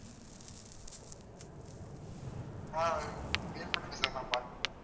ஆஹ் wait பண்ணுங்க sir நான் பாத்து சொல்றேன்